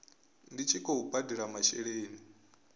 ndi tshi khou badela masheleni